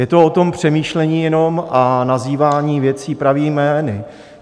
Je to o tom přemýšlení jenom a nazývání věcí pravými jmény.